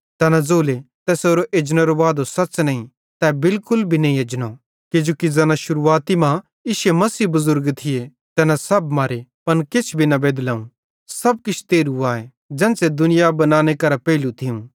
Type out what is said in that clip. तैना ज़ोले तैसेरो एजनेरो वादो सच़ नईं तै बिलकुल भी नईं एजनो किजोकि ज़ैना शुरुआती मां इश्शे मसीही बुज़ुर्ग थिये तैना सब मरे पन किछ भी बेदलोवं सब किछ तेरहू आए ज़ेन्च़रे दुनिया बनानेरे वक्ते करां थियूं